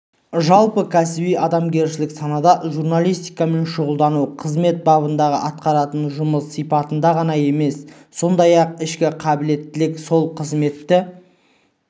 жалпы кәсіби-адамгершілік санада журналистикамен шұғылдану қызмет бабындағы атқаратын жұмыс сипатында ғана емес сондай-ақ ішкі қабілеттілік сол қызметті